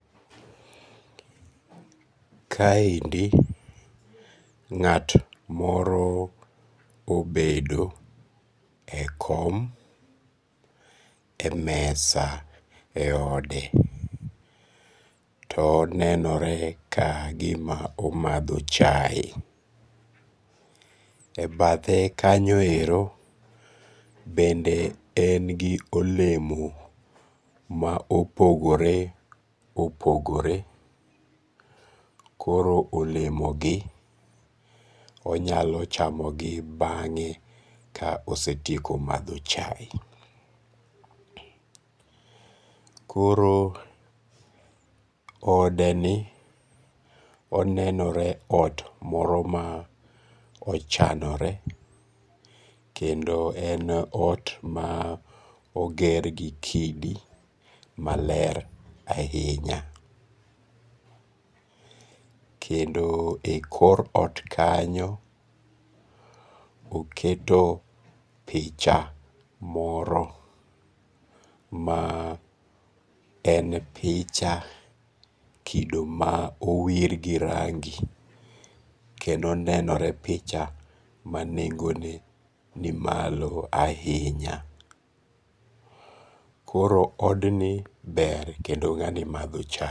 Kaendi nga't moro obedo e kom e mesa e ode, to onenore kagima omatho chaye, e bathe kanyo ero bende en gi olemo ma opogore opogore, koro olemogi onyalo chamogi bange' ka osetieko matho chaye, koro odeni onenore ot moro ma ochanore, kendo en ot ma ogergi kidi maler ahinya, kendo e kor ot kanyo oketo picha moro ma en picha kido ma owir gi rangi kendo enenore picha nengo nimalo ahinya. koro odni ber kendo nga'ni matho chaye.